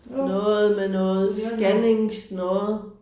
Noget med noget scanningsnoget